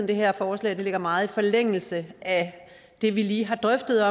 det her forslag ligger meget i forlængelse af det vi lige har drøftet